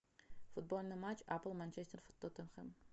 футбольный матч апл манчестер тоттенхэм